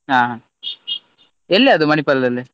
ಹಾ ಎಲ್ಲಿ ಅದು ಮಣಿಪಾಲದಲ್ಲಿ?